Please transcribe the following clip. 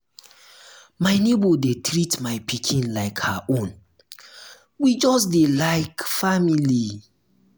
my nebor dey treat my pikin like her own we just dey like um family.